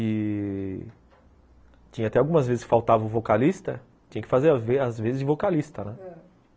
E tinha até algumas vezes que faltava o vocalista, tinha que fazer as as vezes de vocalista, né? ãh